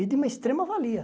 E de uma extrema valia.